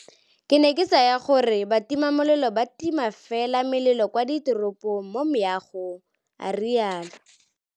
Ke ne ke tsaya fela gore batimamelelo ba tima fela melelo kwa diteropong mo meagong, a rialo.